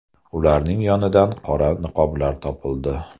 Ularning yonidan qora niqoblar topildi.